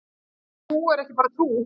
En trú er ekki bara trú.